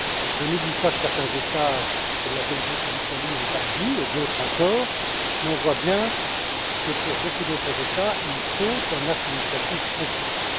Je n'oublie pas que certains États, comme la Belgique ou l'Italie et d'autres encore, ont agi, mais on voit bien que pour beaucoup d'autres États, il faut un acte législatif contraignant.